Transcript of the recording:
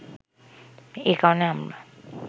এ কারণে আমরা